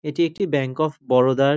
এটি একটি bank of Baroda -র --